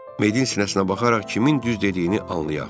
Medin sinəsinə baxaraq kimin düz dediyini anlayaq.